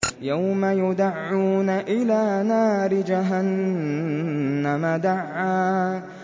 يَوْمَ يُدَعُّونَ إِلَىٰ نَارِ جَهَنَّمَ دَعًّا